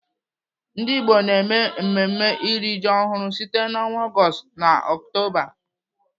Ndigbo na-eme mmemme iri ji ọhụrụ site n'ọnwa Ọgọọst na Ọktoba.